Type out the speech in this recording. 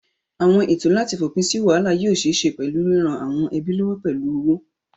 Àwọn ètò láti fòpin sí wàhálà yóò ṣeé ṣe pẹ̀lú ríran àwọn ẹbí lọ́wọ́ pẹ̀lú owó.